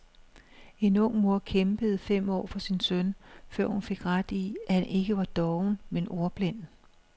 En ung mor kæmpede fem år for sin søn, før hun fik ret i, at han ikke var doven, men ordblind.